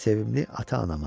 Sevimli ata-anama.